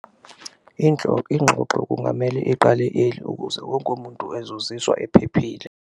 Ingxoxo kungamele iqale eli ukuze wonke umuntu ezozizwa ephephile.